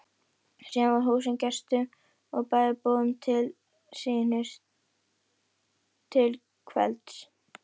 Síðan var húsið gestum og bæjarbúum til sýnis til kvelds.